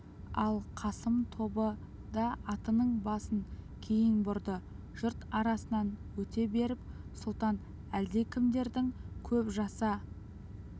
ал қасым тобы да атының басын кейін бұрды жұрт арасынан өте беріп сұлтан әлдекімдердің көп жаса